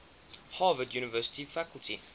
harvard university faculty